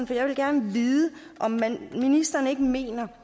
for jeg vil gerne vide om ministeren ikke mener